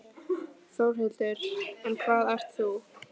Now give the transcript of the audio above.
Þórhildur: En hvað ert þú?